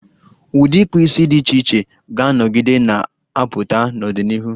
Ụdị ịkpụ isi dị iche iche ga-anọgide na-apụta n'ọdịnihu.